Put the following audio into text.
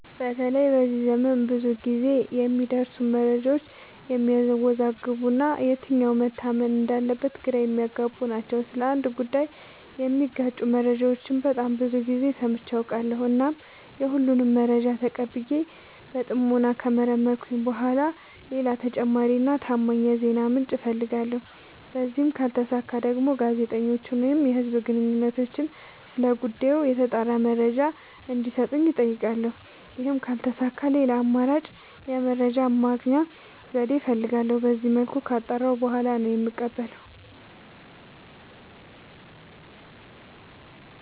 በተለይ በዚህ ዘመን ብዙ ግዜ የሚደርሱን መረጃዎች የሚያዎዛግቡ እና የትኛው መታመን እንዳለበት ግራ የሚያገቡ ናቸው። ስለ አንድ ጉዳይ የሚጋጩ መረጃዎችን በጣም ብዙ ግዜ ሰምቼ አውቃለሁ። እናም የሁሉንም መረጃ ተቀብዬ በጥሞና ከመረመርኩኝ በኋላ ሌላ ተጨማሪ እና ታማኝ የዜና ምንጭ አፈልጋለሁ። በዚህም ካልተሳካ ደግሞ ጋዜጠኞችን ወይም የህዝብ ግንኙነቶችን ስለ ጉዳዩ የተጣራ መረጃ እንዲ ሰጡኝ አጠይቃለሁ። ይህም ካልተሳካ ሌላ አማራጭ የመረጃ የማግኛ ዘዴ እፈልጋለሁ። በዚመልኩ ካጣራሁ በኋላ ነው የምቀበለው።